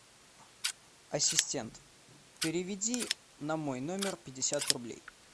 ассистент переведи на мой номер пятьдесят рублей